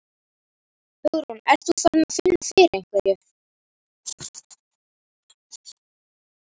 Hugrún: Ert þú farin að finna fyrir einhverju?